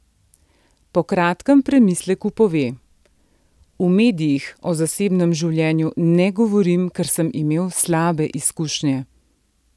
Po kratkem premisleku pove: "V medijih o zasebnem življenju ne govorim, ker sem imel slabe izkušnje.